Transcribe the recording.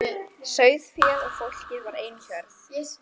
Sauðféð og fólkið var ein hjörð.